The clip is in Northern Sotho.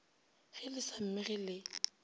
ge le sa mmege le